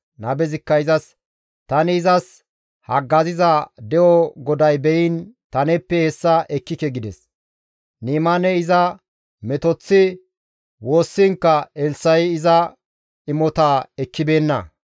Nabezikka izas, «Tani izas haggaziza de7o GODAY beyiin ta neeppe hessa ekkike» gides. Ni7imaaney iza metoththi woossiinkka Elssa7i iza imotaa ekkibeenna.